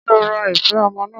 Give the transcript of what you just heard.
Ṣé ó ra ife ọmọ náà?